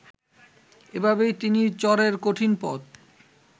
এভাবেই তিনি চরের কঠিন পথ